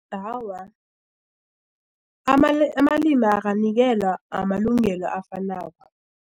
Awa, amalimi akanikelwa amalungelo afanako.